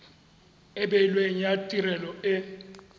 e beilweng ya tirelo e